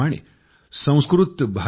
त्याच प्रमाणे samskritabharati